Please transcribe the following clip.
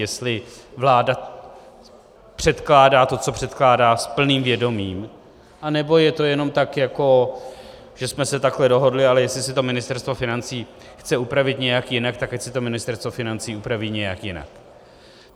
Jestli vláda předkládá to, co předkládá, s plným vědomím, anebo je to jenom tak, jako že jsme se takhle dohodli, ale jestli si to Ministerstvo financí chce upravit nějak jinak, tak ať si to Ministerstvo financí upraví nějak jinak.